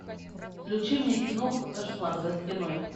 включи мне киноху кошмар за стеной